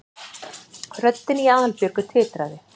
röddin í Aðalbjörgu titraði.